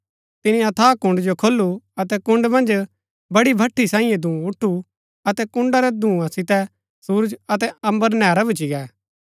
तिनी अथाह कुण्ड़ जो खोलू अतै कुण्ड़ मन्ज बडी भठी सांईये धूँ उठु अतै कुण्ड़ रै धूंआ सितै सुरज अतै अम्बर नैहरा भूच्ची गै